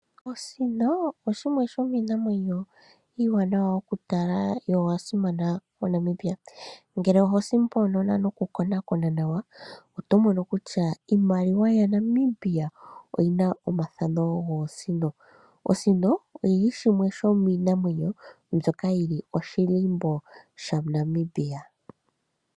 Osino oshimwe shomiinamwenyo iiwanawa okutala yo oya simana moNamibia. Ngele oho simonona noku konakona nawa oto mono kutya iimaliwa yaNamibia oyi na omathano goosino. Osino oyi li shimwe shomiinamwenyo mbyoka yi li oshilimbo shaNamibia.